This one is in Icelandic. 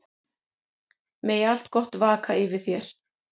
Megi allt gott vaka yfir þér.